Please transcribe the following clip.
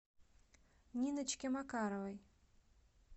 ниночке макаровой